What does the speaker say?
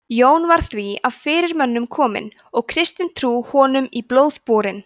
jón var því af fyrirmönnum kominn og kristin trú honum í blóð borin